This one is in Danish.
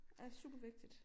Ja super vigtigt